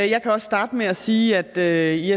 jeg kan også starte med at sige at i